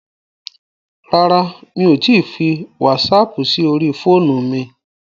Rárá, mi ò tíì fi wásaapù sí orí fóònù mi.